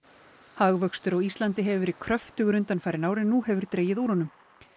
hagvöxtur á Íslandi hefur verið kröftugur undanfarin ár en nú hefur dregið úr honum